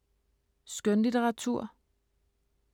Skønlitteratur